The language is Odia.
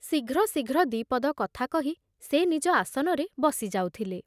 ଶୀଘ୍ର ଶୀଘ୍ର ଦି ପଦ କଥା କହି ସେ ନିଜ ଆସନରେ ବସି ଯାଉଥିଲେ ।